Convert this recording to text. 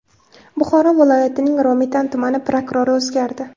Buxoro viloyatining Romitan tumani prokurori o‘zgardi.